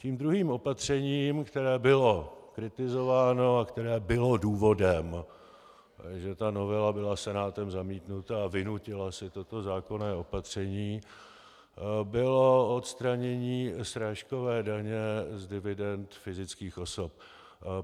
Tím druhým opatřením, které bylo kritizováno a které bylo důvodem, že ta novela byla Senátem zamítnuta a vynutila si toto zákonné opatření, bylo odstranění srážkové daně z dividend fyzických osob.